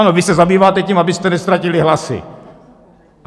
Ano, vy se zabýváte tím, abyste neztratili hlasy.